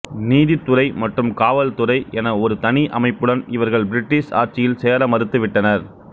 நீதித்துறை மற்றும் காவல்துறை என ஒரு தனி அமைப்புடன் இவர்கள் பிரிட்டிஷ் ஆட்சியில் சேர மறுத்துவிட்டனர்